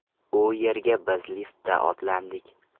U yerga biz liftda otlandik.